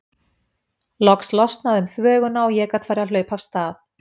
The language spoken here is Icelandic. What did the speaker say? Loks losnaði um þvöguna og ég gat farið að hlaupa af stað.